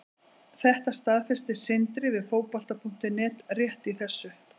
Þetta staðfesti Sindri við Fótbolta.net rétt í þessu.